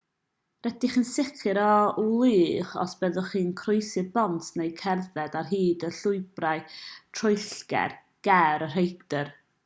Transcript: rydych chi'n sicr o wlychu os byddwch chi'n croesi'r bont neu'n cerdded ar hyd y llwybrau troellog ger y rhaeadr